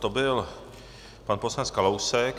To byl pan poslanec Kalousek.